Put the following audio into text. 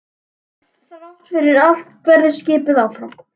En þrátt fyrir allt barðist skipið áfram.